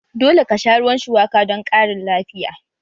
Dole ka sha ruwan shuwaka don ƙarin lafiya!